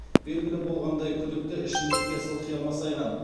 белгілі болғандай күдікті ішімдікке сылқия масайған